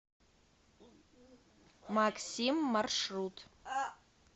максим маршрут